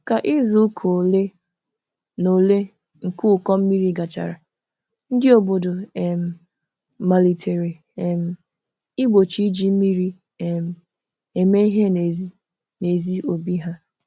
Ka izuụka ole na ole nke ụkọ mmiri gachara, ndị obodo um malitere um igbochi iji mmiri um eme ihe n'ezi n'obi ha.